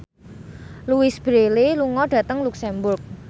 Louise Brealey lunga dhateng luxemburg